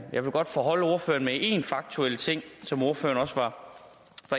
jeg vil godt foreholde ordføreren en faktuel ting som ordføreren også var